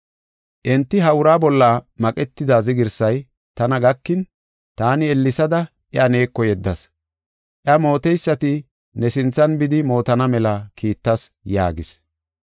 Enti ha uraa bolla maqetida zigirsay tana gakin, taani ellesada iya neeko yeddas. Iya mooteysati ne sinthan bidi mootana mela kiittas” yaagis.